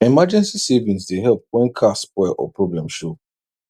emergency savings dey help when car spoil or problem show